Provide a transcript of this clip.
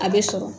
A bɛ sɔrɔ